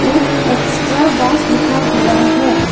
एक extra boss लिखा हुआ है।